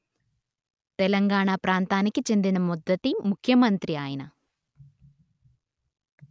తెలంగాణా ప్రాంతానికి చెందిన మొదటి ముఖ్యమంత్రి ఆయన